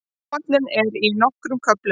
Áætlunin er í nokkrum köflum.